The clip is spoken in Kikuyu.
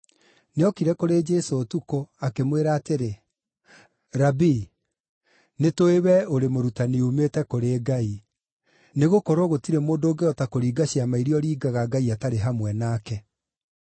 Nĩokire kũrĩ Jesũ ũtukũ, akĩmwĩra atĩrĩ, “Rabii, nĩtũũĩ we ũrĩ mũrutani uumĩte kũrĩ Ngai. Nĩgũkorwo gũtirĩ mũndũ ũngĩhota kũringa ciama iria ũringaga Ngai atarĩ hamwe nake.”